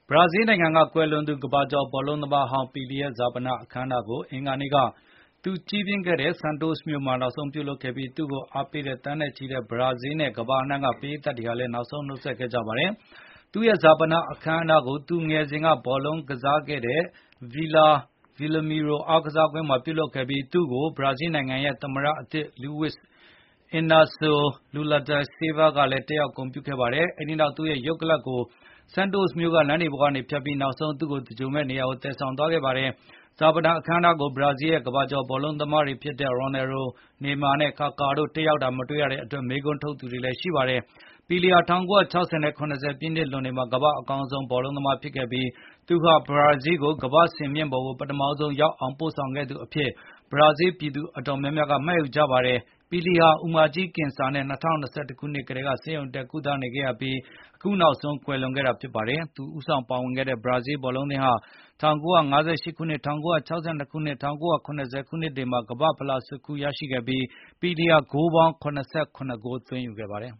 ဘရာဇီးနိုင်ငံက ကွယ်လွန်သူ ကမ္ဘာကျော် ဘောလုံးသမားဟောင်း ပီလီရဲ့ ဈာပနအခမ်းအနားကို အင်္ဂါနေ့က သူကြီးပြင်းခဲ့တဲ့ Santos မြို့မှာ နောက်ဆုံးပြုလုပ်ခဲ့ပါတယ်။ သူ့ကို အားပေးတဲ့ သန်းနဲ့ချီတဲ့ ဘရာဇီးနဲ့ ကမ္ဘာအနှံ့က ပရိသတ်တွေဟာလည်း နောက်ဆုံးနှုတ်ဆက် ခဲ့ကြပါတယ်။ သူ့ရဲ့ ဈာပနအခမ်းအနားကို သူငယ်စဉ်က ဘောလုံးကစားခဲ့တဲ့ Vila Belmiro အားကစားကွင်းမှာ ပြုလုပ်ခဲ့ပြီး၊ ဘရာဇီးနိုင်ငံရဲ့ သမ္မတသစ် Luiz Lnacio Lula de Silva ကိုယ်တိုင် တက်ရောက် ဂုဏ်ပြုခဲ့ပါတယ်။ အဲဒီနောက် သူရဲ့ရုပ်ကလပ်ကို Santos မြို့ လမ်းတွေပေါ်ကနေဖြတ်ပြီး နောက်ဆုံးသင်္ဂြိုလ်မယ့်နေရာကို သယ်ဆောင်သွားခဲ့ပါတယ်။ ဈာပနအခမ်းအနားကို ဘရာဇီးရဲ့ ကမ္ဘာကျော် ဘောလုံးသမားတွေဖြစ်တဲ့ Ronaldo Nazario, Neymar နဲ့ Kaka တို့ တက်ရောက်တာမတွေ့ရတဲ့အတွက် မေးခွန်းထုတ်သူတွေလည်း ရှိပါတယ်။ ပီလီဟာ ၁၉၆၀ နဲ့ ၇၀ ပြည့်လွန်နှစ်တွေမှာ ကမ္ဘာ့အကောင်းဆုံး ဘောလုံးသမားဖြစ်ခဲ့ပြီး၊ သူဟာ ဘရာဇီးကို ကမ္ဘာ့စင်မြင့်ပေါ်ကိုပထမဆုံးရောက်အောင် ပို့ဆောင်ခဲ့သူအဖြစ် ဘရာဇီးပြည်သူ အတော်များများက မှတ်ယူကြပါတယ်။ ပီလီဟာ အူမကြီးကင်ဆာနဲ့ ၂၀၂၁ ခုနှစ်ကတည်းက ဆေးရုံတက် ကုသနေခဲ့ရပြီး၊ အခုနောက်ဆုံး ကွယ်လွန်ခဲ့တာဖြစ်ပါတယ်။ သူဦးဆောင်ပါဝင်ခဲ့တဲ့ ဘရာဇီးဘောလုံးအသင်းဟာ ၁၉၅၈၊ ၁၉၆၂ နဲ့ ၁၉၇၀ ခုနှစ်တွေမှာ ကမ္ဘာ့ဖလားကို ဆွတ်ခူးရယူနိုင်ခဲ့ပြီး၊ ပီလီဟာ ဂိုးပေါင်း ၇၇ ဂိုး သွင်းယူခဲ့ပါတယ်။